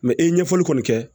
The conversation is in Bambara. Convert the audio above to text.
i ye ɲɛfɔli kɔni kɛ